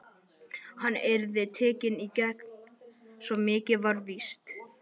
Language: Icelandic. Hann yrði tekinn í gegn, svo mikið var víst.